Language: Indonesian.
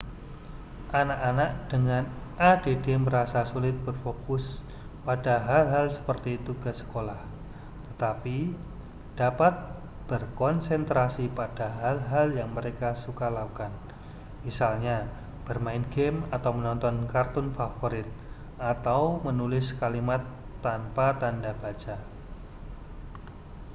anak-anak dengan add merasa sulit berfokus pada hal-hal seperti tugas sekolah tetapi dapat berkonsentrasi pada hal-hal yang mereka suka lakukan misalnya bermain gim atau menonton kartun favorit atau menulis kalimat tanpa tanda baca